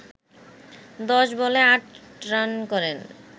১০ বলে ৮ রান করেন